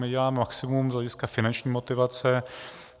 My děláme maximum z hlediska finanční motivace.